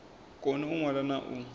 koni u ṅwala na u